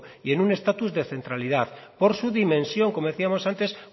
y un estatus de centralidad por su dimensión como decíamos antes